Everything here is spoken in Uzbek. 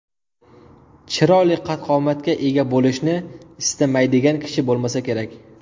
Chiroyli qad-qomatga ega bo‘lishni istamaydigan kishi bo‘lmasa kerak.